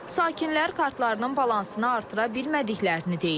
Sakinlər kartlarının balansını artıra bilmədiklərini deyir.